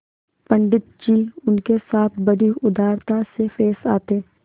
पंडित जी उनके साथ बड़ी उदारता से पेश आते